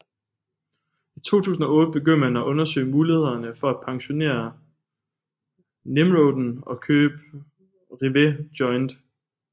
I 2008 begyndte man at undersøge muligheden for at pensionere Nimroden og købe Rivet Joint